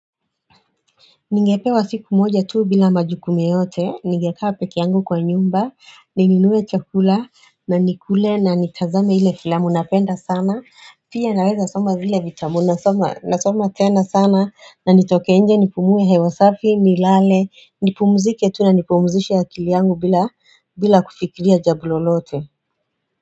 Ningepewa siku moja tu bila majukumu yeyote, ningekea peke yangu kwa nyumba, nininue chakula, na nikule na nitazame ile filamu napenda sana, pia naweza soma vile vitabu, nasoma tena sana, na nitokenje nipumue hewasafi, nilale, nipumzike tuu na nipumzishe ya akili yangu bila kufikiria jambo lolote.